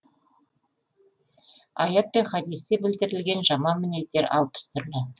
аят пен хадисте білдірілген жаман мінездер алпыс түрлі